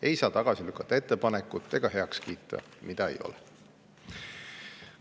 Ei saa tagasi lükata ega heaks kiita ettepanekut, mida ei ole.